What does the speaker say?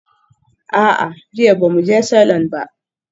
A'a, jiya ba mu je salon ba.